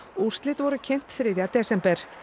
úrslit voru kynnt þriðja desember